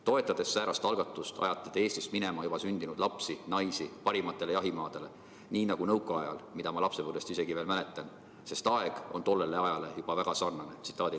Toetades säärast algatust, ajate te Eestist minema juba sündinud lapsi, naisi parimatele jahimaadele, nii nagu nõukaajal, mida ma lapsepõlvest isegi veel mäletan, sest aeg on tollele ajale juba väga sarnane.